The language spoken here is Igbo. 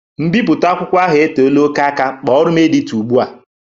Mbipụte akwụkwọ ahụ e teela oké aka, kpọrọ m edito ụgbụa!